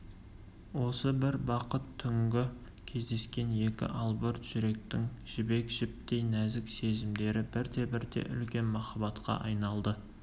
осы бір бақыт түнгі кездескен екі албырт жүректің жібек жіптей нәзік сезімдері бірте-бірте үлкен махаббатқа айналды